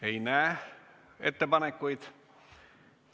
Ei näe ettepanekuid.